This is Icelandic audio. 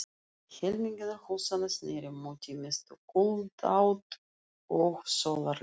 Helmingur húsanna sneri móti mestu kuldaátt og sólarleysi.